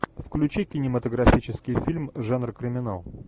включи кинематографический фильм жанр криминал